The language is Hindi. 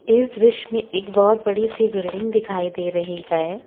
इस दृश्य में एक बहुत बड़ी सी बिल्डिंग दिखाई दे रही है।